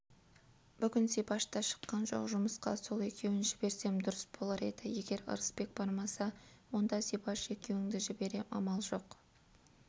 бүгін зибаш та шыққан жоқ жұмысқа сол екеуін жіберсем дұрыс болар еді егер ырысбек бармаса онда зибаш екеуіңді жіберем амал жоқ